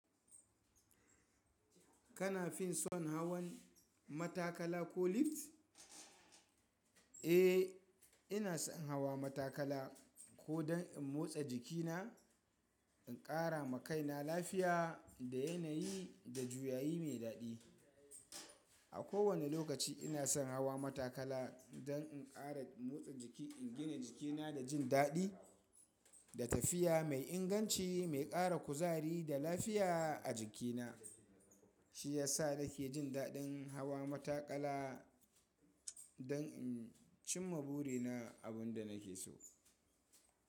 Kana fin son hawan matakala ko lift? Eh, ina son hawa matakala ko don in motsa jikina, in ƙara ma kaina lafiya da yanayi da juyayi mai daɗi. A kowane lokaci ina son hawa matakala don in ƙara motsa jiki, in gina jikina da jin daɗi da tafiya mai inganci mai ƙara kuzari da lafiya a jikina. Shi ya sa nake jin daɗin hawa matakala don in cimma burina, abin da nake so.